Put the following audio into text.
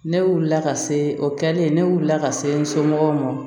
Ne wulila ka se o kɛlen ne wulila ka se n somɔgɔw ma